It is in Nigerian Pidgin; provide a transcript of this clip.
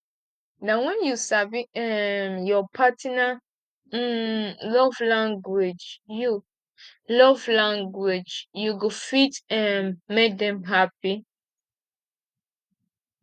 na wen you sabi um your partner um love language you love language you go fit um make dem hapi